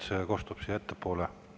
See kostab siia ettepoole.